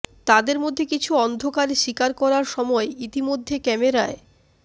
তাদের মধ্যে কিছু অন্ধকারে শিকার করার সময় ইতিমধ্যে ক্যামেরায়